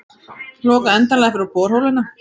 Loka endanlega fyrir borholuna